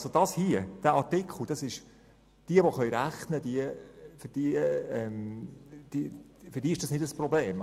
Für diejenigen, die rechnen können, ist es kein Problem.